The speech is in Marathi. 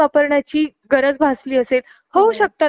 चार मैत्रिणी होतो , चारपैकी एकाला प्रॉब्लेम आलेला आहे .